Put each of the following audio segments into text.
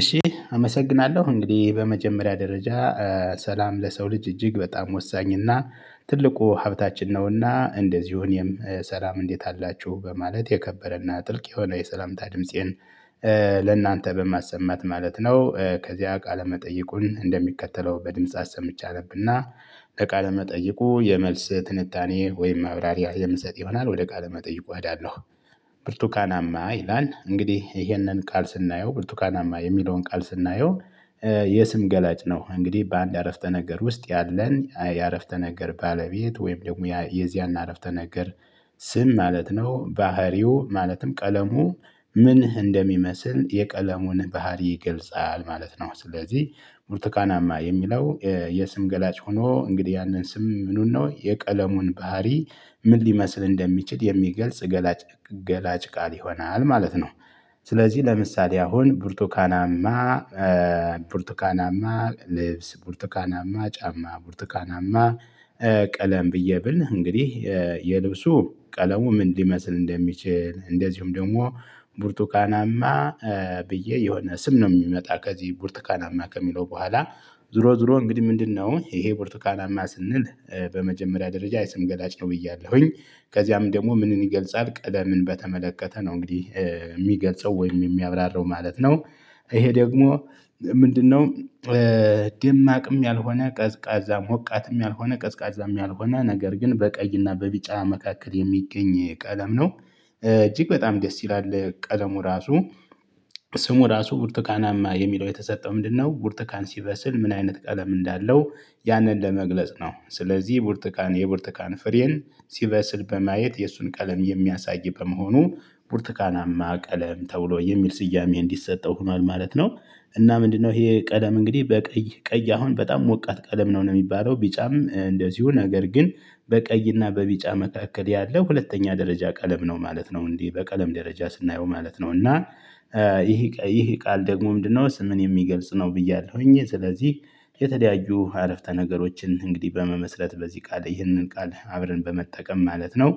እሺ አመሰግናለው እንግዲ በመጀመሪያ ደረጃ ሰላም ለሰው ልጅ እጅግ በጣም ወሳኝና ትልቁ ሀብታችን ነውና እንደዚው እኔም ሰላም እንዴት አላቹ በማለት የከበረና ጥልቅ የሆነ የሰላምታ ድምፄን ለእናንተ በማሰማት ማለት ነው። ከዚያ ቃለ መጠይቁን እንደሚከተለው በድምጽ አሰምቼ አነብና ለቃለ መጠይቁ የመልስ ትንታኔ ወይም ማብራሪ የምሰጥ ይሆናል ወደ ቃለ መጠይቁ እሄዳለሁ። ብርቱካናማ ይላል እንግዲህ ይሄንን ቃል ስናየው ብርቱካናማ የሚለውን ቃል ስናየው የስም ገላጭ ነው። እንግዲ በአንድ አረፍተ ነገር ውስጥ ያለን የአረፍተ ነገር ባለቤት ወይም ደግሞ የዚያን አረፍተ ነገር ስም ማለት ነው። ባህሪው ማለትም ቀለሙ ምን እንደሚመስል የቀለሙን ባህሪ ይገልጻል ማለት ነው። ስለዚ ብርቱካናማ የሚለው የስም ገላጭ ሆኖ እንግዲ ያንን ስም ምኑን ነው የቀለሙን ባህሪ ምን ሊመስል እንደሚችል የሚገልጽ ገላጭ ገላጭ ቃል ይሆናል ማለት ነው። ስለዚ ለምሳሌ አሁን ብርቱካናማ ብርቱካናማ ልብስ ቡርቱካናማ ጫማ ቡርቱካናማ ቀለም ብዬ ብል እንግዲ የልብሱ ቀለሙ ምን ሊመስል እንደሚችል እንደዚሁም ደሞ ቡርቱካናማ ብዬ የሆነ ስም ነው ሚመጣ ከዚ ቡርትካናማ ከሚለው በኋላ ዙሮ ዙሮ እንግዲ ምንድነው ይሄ ቡርቱካናማ ስንል በመጀመሪያ ደረጃ የስም ገላጭ ነው ብያለሁኝ ከዚያም ደሞ ምንን ይገልጻል ቀለምን በተመለከተ ነው እንግዲህ ሚገልጸው ወይም የሚያብራራው ማለት ነው። ይሄ ደግሞ ምንድነው? ደማቅም ያልሆነ ቀዝቃዛ ሞቃትም ያልሆነ ቀዝቃዛም ያልሆነ ነገር ግን በቀይና በቢጫ መካከል የሚገኝ ቀለም ነው። እጅግ በጣም ደስ ይላል ቀለሙ ራሱ ስሙ ራሱ ቡርቱካናማ የሚለው የተሰጠው ምንድነው ቡርትካን ሲበስል ምን አይነት ቀለም እንዳለው? ያንን ለመግለጽ ነው ስለዚ ቡርትካን የቡርትካን ፍሬን ሲበስል በማየት የእሱን ቀለም የሚያሳይ በመሆኑ ቡርትካናማ ቀለም ተብሎ የሚል ስያሜ እንዲሰጠው ሆኗል ማለት ነው። እና ምንድነው? ይሄ ቀለም እንግዲ በቀይ ቀይ አሁን በጣም ሞቃት ቀለም ነው ነው ሚባለው ቢጫም እንደዚሁ ነገር ግን በቀይና በቢጫ መካከል ያለው ሁለተኛ ደረጃ ቀለም ነው ማለት ነው። እንዲ በቀለም ደረጃ ስናየው ማለት ነው እና ይሄ ይሄ ቃል ደግሞ ምንድነው? ስምን የሚገልጽ ነው ብያለሁኝ ስለዚ የተለያዩ አረፍተ ነገሮችን እንግዲ በመመስረት በዚ ቃል ይህንን ቃል አብረን በመጠቀም ማለት ነው።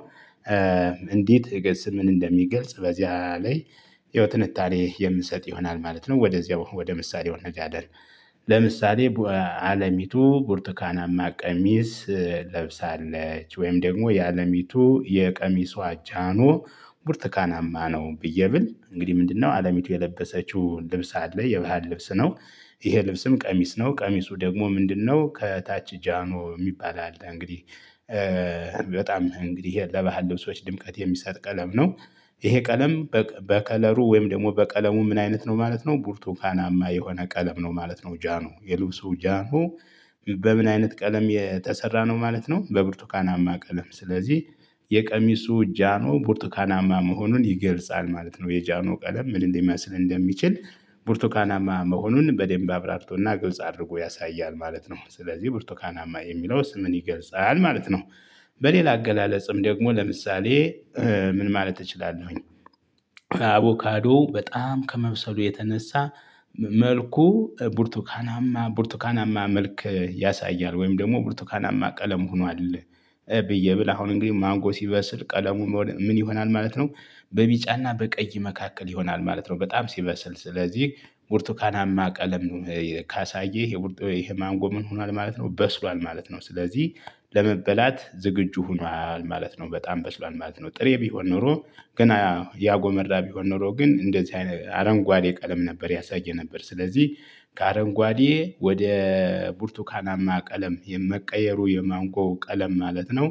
እንዴት? ስምን እንደሚገልጽ በዚያ ላይ ያው ትንታኔ የምሰጥ ይሆናል ማለት ነው። ወደዚያው ወደ ምሳሌው እንሄዳለን። ለምሳሌ አለሚቱ ቡርቱካናማ ቀሚስ ለብሳለች ወይም ደግሞ የአለሚቱ የቀሚሷ ጃኖ ብርቱካናማ ነው ብዬ ብል እንግዲ ምንድነው አለሚቱ የለበሰችው ልብስ አለ የበሃል ልብስ ነው። ይሄ ልብስም ቀሚስ ነው ቀሚሱ ደግሞ ምንድነው? ከታች ጃኖ ሚባል አለ እንግዲህ በጣም እንግዲህ ለበሃል ልብሶች ድምቀት የሚሰጥ ቀለም ነው። ይሄ ቀለም በከለሩ ወይም ደሞ በቀለሙ ምን አይነት ነው ማለት ነው። ቡርቱካናማ የሆነ ቀለም ነው ማለት ነው ጃኖ የልብሱ ጃኖ በምን አይነት ቀለም የተሰራ ነው ማለት ነው። በቡርቱካናማ ቀለም ስለዚ የቀሚሱ ጃኖ ቡርትካናማ መሆኑን ይገልጻል ማለት ነው የጃኖ ቀለም ምን እንደሚመስል እንደሚችል ቡርቱካናማ መሆኑን በደንብ አብራርቶና ግልጽ አድርጎ ያሳያል ማለት ነው። ስለዚ ብቡርቱካናማ የሚለው ስምን ይገልጻል ማለት ነው። በሌላ አገላለጽም ደግሞ ለምሳሌ። ምን ማለት እችላለሁኝ። አቮካዶ በጣም ከመብሰሉ የተነሳ መልኩ ቡርቱካናማ ቡርቱካናማ መልክ ያሳያል ወይም ደሞ ቡርቱካናማ ቀለም ሆኗል። ብዬ ብል አሁን እንግዲ ማንጎ ሲበስል ቀለሙ ምን ይሆናል ማለት ነው። በቢጫና በቀይ መካከል ይሆናል ማለት ነው። በጣም ሲበስል ስለዚ ቡርቱካናማ ቀለም ካሳየ ይሄ ማንጎ ምን ሆኗል ማለት ነው በስሏል ማለት ነው። ስለዚ ለመበላት ዝግጁ ሆኗል ማለት ነው። በጣም በስሏል ማለት ነው ጥሬ ቢሆን ኖሮ ገና ያጎመራ ቢሆን ኖሮ ግን እንደዚህ አይነ አረንጓዴ ቀለም ነበር ያሳይ የነበር ስለዚ ከአረንጓዴ ወደ ቡርቱካናማ ቀለም የመቀየሩ የማንጎ ቀለም ማለት ነው።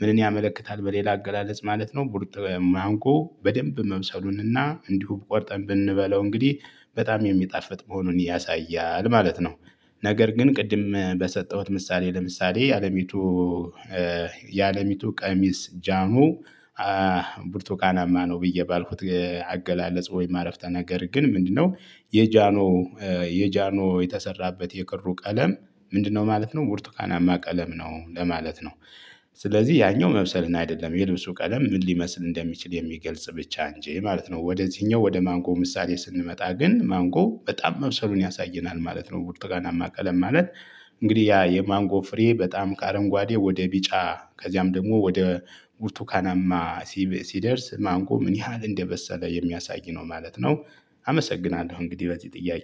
ምንን ያመለክታል? በሌላ አገላለጽ ማለት ነው ቡርጥ ማንቆ በደንብ መብሰሉንና እንዲሁ ቆርጠን ብንበለው እንግዲ በጣም የሚጣፍጥ መሆኑን ያሳያል ማለት ነው። ነገር ግን ቅድም በሰጠውት ምሳሌ ለምሳሌ የአለሚቱ የአለሚቱ ቀሚስ ጃኖ ብርቱካናማ ነው ብዬ ባልኩት አገላለጽ ወይም አረፍተ ነገር ግን ምንድነው? የጃኖ የጃኖ የተሰራበት የክሩ ቀለም ምንድነው? ማለት ነው ቡርቱካናማ ቀለም ነው ለማለት ነው። ስለዚህ ያኛው መብሰልን አደለም የልብሱ ቀለም ምን ሊመስል እንደሚችል የሚገልጽ ብቻ እንጂ ማለት ነው ወደዚህኛው ወደ ማንጎ ምሳሌ ስንመጣ ግን ማንጎ በጣም መብሰሉን ያሳየናል ማለት ነው። ቡርቱካናማ ቀለም ማለት እንግዲ ያ የማንጎ ፍሬ በጣም ከአረንጓዴ ወደ ቢጫ ከዚያም ደግሞ ወደ ቡርቱካናማ ሲደርስ ማንጎ ምን ያህል እንደበሰለ የሚያሳይ ነው ማለት ነው። አመሰግናለሁ እንግዲ በዚ ጥያቄ